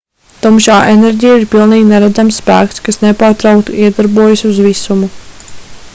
tumšā enerģija ir pilnīgi neredzams spēks kas nepārtraukti iedarbojas uz visumu